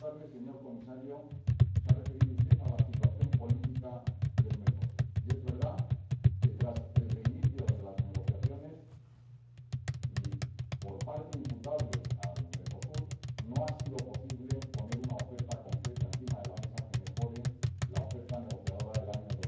Señor Comisario, se ha referido usted a la situación política de Mercosur y es verdad que, tras el reinicio de las negociaciones y por razones imputables a Mercosur, no ha sido posible poner una oferta concreta encima de la mesa que mejore la oferta negociadora del año